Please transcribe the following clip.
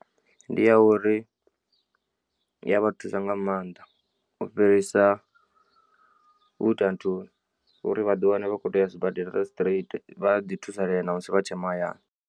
Ndi ya uri iya vha thusa nga maanḓa u fhirisa u ita nthuni uri vhaḓi wane vha kho to uya sibadela straight vha ḓi thusalea na musi vha tshe mahayani.